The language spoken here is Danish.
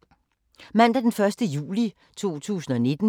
Mandag d. 1. juli 2019